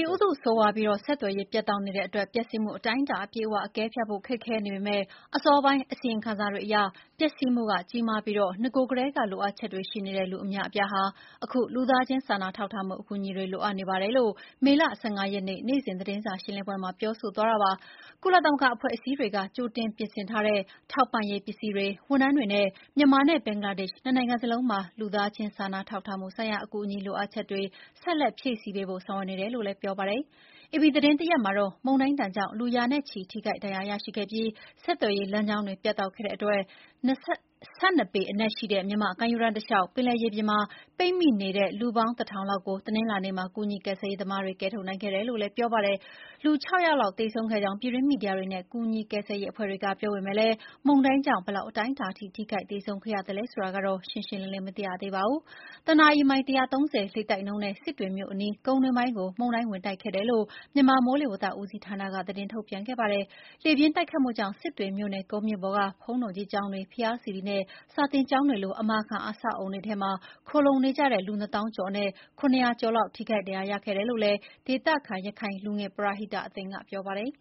ီဥတု ဆိုးရွားပြီး ဆက်သွယ်ရေးပြတ်တောက်နေလို့ ပျက်စီးမှုအတိုင်းအတာ အပြည့်အဝ အကဲဖြတ်ဖို့ ခက်ခဲနေပေမယ့် အစောပိုင်း အစီရင်ခံစာတွေအရ ပျက်စီးမှုကကျယ်ပြောပြီး နဂို ကတည်းက လိုအပ်ချက်တွေရှိနေတဲ့လူအများအပြားဟာ အခု လူသားချင်းစာနာထောက်ထားမှုအကူအညီတွေ လိုအပ်နေပါတယ်။” ကုလသမဂ္ဂအဖွဲ့အစည်းတွေက ကြိုတင်ပြင်ဆင်ထားတဲ့ ထောက်ပံ့ရေးပစ္စည်းတွေ၊ ဝန်ထမ်းတွေနဲ့ မြန်မာနှင့် ဘင်္ဂလားဒေ့ရှ် နှစ်နိုင်ငံလုံးမှာ လူသားချင်းစာနာထောက်ထားမှုဆိုင်ရာ အကူအညီ လိုအပ်ချက်တွေ ဆက်လက် ဖြည့်ဆည်းပေးဖို့ လုပ်ဆောင်နေတယ်လို့ ဆိုပါတယ်။ အေပီသတင်းရဲ့ဖော်ပြချက်မှာတော့ မုန်တိုင်းဒဏ်ကြောင့် လူ ရာနဲ့ချီ ထိခိုက်ဒဏ်ရာရရှိခဲ့ပြီး ဆက်သွယ်ရေးလမ်းကြောင်းတွေ ပြတ်တောက်နေသလို ၁၂ ပေ အနက်ရှိတဲ့ မြန်မာ့ကမ်းရိုးတန်းတလျှောက်ပင်လယ်ရေပြင်မှာ ပိတ်မိနေတဲ့ လူပေါင်း ၁,၀၀၀ လောက်ကို တနင်္လာနေ့မှာ ကူညီ ကယ်ဆယ်ရေးသမားတွေက ကယ်ထုတ်နိုင်ခဲ့တယ်လို့ ဆိုပါတယ်။ လူ (၆) ယောက် သေဆုံးခဲ့ကြောင်း ပြည်တွင်းမီဒီယာတွေနဲ့ ကူညီကယ်ဆယ်ရေး အဖွဲ့တွေက ပြောပေမယ့် မုန်တိုင်းကြောင့် ဘယ်အတိုင်းအတာအထိ ထိခိုက်ဒဏ်ရာရ သေဆုံးမှုတွေဖြစ်ခဲ့သလဲဆိုတာတော့ ရှင်းရှင်းလင်းလင်း မသိရသေးပါဘူး။ မုန်တိုင်းဟာ လေတိုက်နှုန်း မိုင် ၁၃၀ နှုန်းနဲ့ စစ်တွေမြို့နယ်အနီး ကုန်တွင်းကို ဝင်ခဲ့တာလို့ မြန်မာ မိုးလေဝသ ဦးစီးဌာနက သတင်းထုတ်ပြန်ခဲ့ပါတယ်။ လေပြင်းတိုက်ခတ်မှုကြောင့် စစ်တွေမြို့နယ် ကုန်းမြင့်ပေါ်ရှိ ဘုန်းတော်ကြီးကျောင်းများ၊ ဘုရားစေတီနဲ့ စာသင်ကျောင်းလို အမာခံ အဆောက်အအုံတွေထဲမှာ ခိုလှုံနေတဲ့ လူ ၂၀,၀၀၀ ကျော်အနက် ၇၀၀ ကျော် ထိခိုက်ဒဏ်ရာရခဲ့ကြောင်း ဒေသခံ ရခိုင်လူငယ်ပရဟိတအသင်းက ပြောပါတယ်